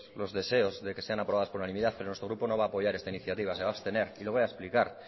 los deseos de que sean aprobadas por unanimidad pero nuestro grupo no va a apoyar esta iniciativa se va abstener y lo voy a explicar